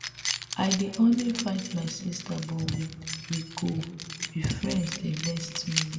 i dey always fight my sister but we go be friends the next minute.